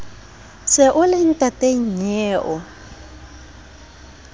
se o le ntata nnyeo